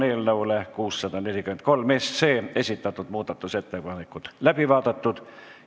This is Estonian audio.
Eelnõu 643 kohta esitatud muudatusettepanekud on läbi vaadatud.